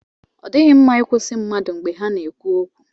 Ọ dịghị mma ị kwụsị mmadụ mgbe ha ka na-ekwu okwu.